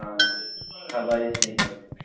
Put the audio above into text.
હા ખબર જ ની પડે